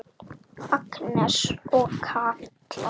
Agnes og Katla.